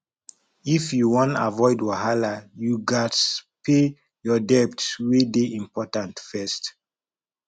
if you wan avoid wahala you gats pay your debt wey dey important first